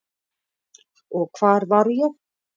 Og hvar var ég?